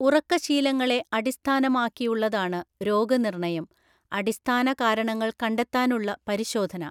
ഉറക്ക ശീലങ്ങളെ അടിസ്ഥാനമാക്കിയുള്ളതാണ് രോഗനിർണയം, അടിസ്ഥാന കാരണങ്ങൾ കണ്ടെത്താനുള്ള പരിശോധന.